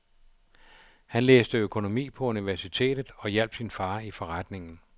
Han læste økonomi på universitetet og hjalp sin far i forretningen.